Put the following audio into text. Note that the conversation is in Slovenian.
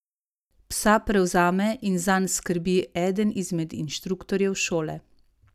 Psa prevzame in zanj skrbi eden izmed inštruktorjev šole.